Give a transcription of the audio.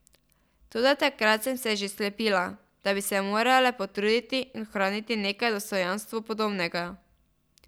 Toda takrat sem se še slepila, da bi se morale potruditi in ohraniti nekaj dostojanstvu podobnega.